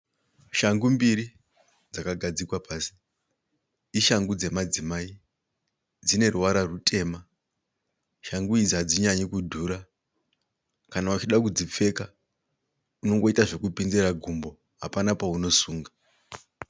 Shangu mbiri dzakagadzikwa pasi, ishangu dzemadzimai. Dzineruvara rutema, shangu idzi hadzinyanyi kudhura. Kana uchida kudzipfeka unongoita zvekupinzira gumbo, hapana paunosunga.